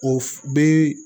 O f bi